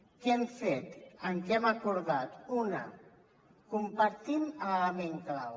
què hem fet què hem acordat una compartim l’element clau